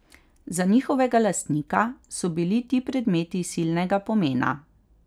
Za njihovega lastnika so bili ti predmeti silnega pomena.